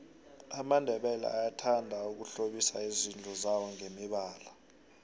amandebele ayathanda ukuhlobisa izindlu zawongemibalo